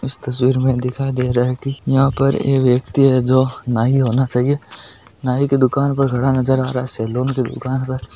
इस तस्वीर में दिखाई दे रहा है की यहाँ पर एक व्यक्ति है जो नाई होना चहिये नाई की दूकान खड़ा नजर आ रहा है सैलून की दूकान पर --